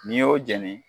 N'i y'o jɛni